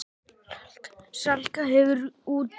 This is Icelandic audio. Salka gefur út.